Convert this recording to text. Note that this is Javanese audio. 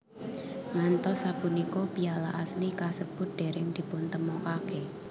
Ngantos sapunika piala asli kasebut dereng dipuntemokake